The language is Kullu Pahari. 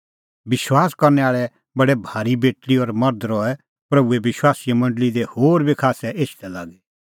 विश्वास करनै आल़ै बडै भारी बेटल़ी और मर्ध रहै प्रभूए विश्वासीए मंडल़ी दी होर बी खास्सै एछदै लागी